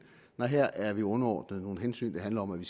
nej her er vi underordnet nogle hensyn der handler om at vi